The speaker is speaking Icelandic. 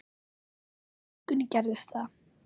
En í vikunni gerðist það.